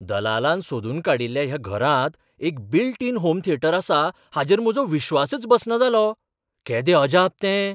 दलालान सोदून काडिल्ल्या ह्या घरांत एक बील्ट इन होम थियेटर आसा हाचेर म्हजो विश्वासच बसना जालो. केदें अजाप तें!